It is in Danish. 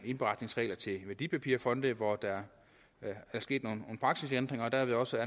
indberetningsregler til værdipapirfonde hvor der er sket nogle praksisændringer og der vil også